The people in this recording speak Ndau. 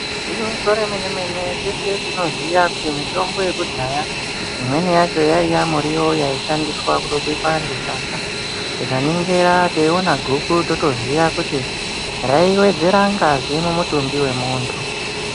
Igwinyiso remene-mene teshe tinoziya kuti mitombo yekudhaya imweni yacho yaiya muriwo yaishandiswa kutobika ngesadza. Tikaningira teiona guku totoziya kuti raiwedzera ngazi mumutumbi wemuntu.